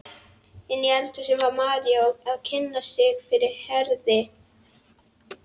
Inni í eldhúsi var María að kynna sig fyrir Herði.